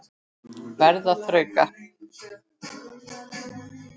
Verð að þrauka.